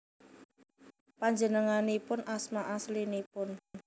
Panjenenganipun asma aslinipun